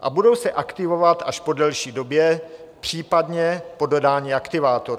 a budou se aktivovat až po delší době, případně po dodání aktivátoru.